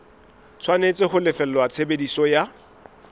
tshwanetse ho lefella tshebediso ya